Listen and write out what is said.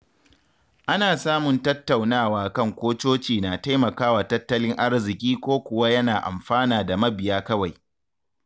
Ana samun tattaunawa kan ko coci na taimakawa tattalin arziƙi ko kuwa yana amfana da mabiya kawai.